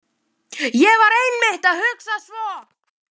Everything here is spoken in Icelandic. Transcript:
ÉG VAR EINMITT AÐ HUGSA SVO